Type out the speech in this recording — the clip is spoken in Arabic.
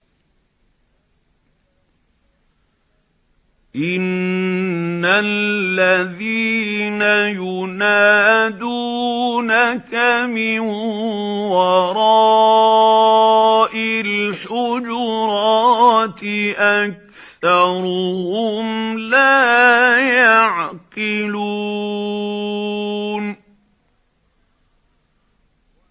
إِنَّ الَّذِينَ يُنَادُونَكَ مِن وَرَاءِ الْحُجُرَاتِ أَكْثَرُهُمْ لَا يَعْقِلُونَ